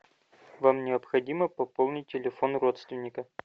вам необходимо пополнить телефон родственника